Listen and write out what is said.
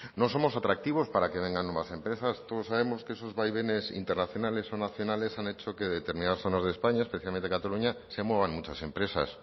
no somos atractivos para que vengan nuevas empresas todos sabemos que esos vaivenes internacionales o nacionales han hecho que determinadas zonas de españa especialmente cataluña se muevan muchas empresas